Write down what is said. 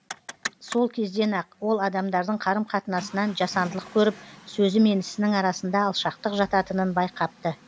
сол кезден ақ ол адамдардың қарым қатынасынан жасандылық көріп сөзі мен ісінің арасында алшақтық жататынын байқапты